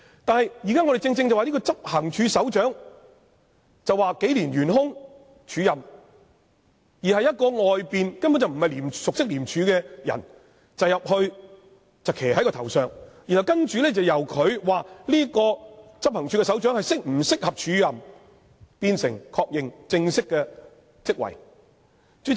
但是，現時的情況是，執行處首長職位已安排署任數年，而由一名從外面招聘、不熟悉廉署的人入內領導，決定該名署任執行處首長是否適合，再確認正式的職位。